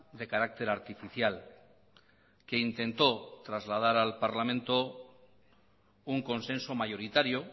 de carácter artificial que intentó trasladar al parlamento un consenso mayoritario